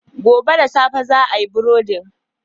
Gobe da safe za a yi burodin.